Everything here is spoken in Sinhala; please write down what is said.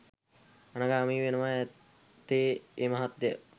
අනාගාමි වෙනවා ඇත්තේ ඒ මහත්තය.